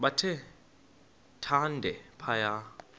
bathe thande phaya